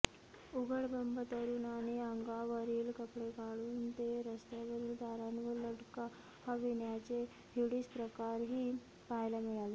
उघडबंब तरुण आणि अंगावरील कपडे काढून ते रस्त्यावरील तारांवर लटकाविण्याचे हिडीस प्रकारही पहायला मिळाले